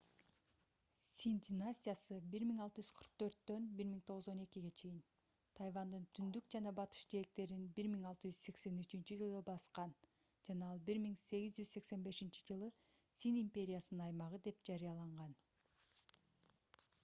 цин династиясы 1644-1912 тайвандын түндүк жана батыш жээктерин 1683-жылы баскан жана ал 1885-жылы цин империясынын аймагы деп жарыяланган